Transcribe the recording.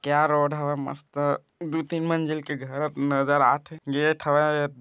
क्या रोड हावय मस्त दो- तीन मंजिल के घर नजर आत हे गेट हावय--